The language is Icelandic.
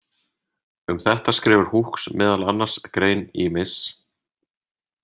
Um þetta skrifar hooks meðal annars grein í Miss